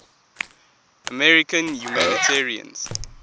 american humanitarians